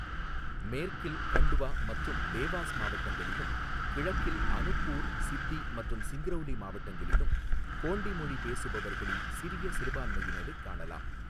மேற்கில் கண்ட்வா மற்றும் தேவாஸ் மாவட்டங்களிலும், கிழக்கில் அனுப்பூர், சித்தி மற்றும் சிங்ரௌலி மாவட்டங்களிலும் கோண்டி மொழி பேசுபவர்களின் சிறிய சிறுபான்மையினரைக் காணலாம்.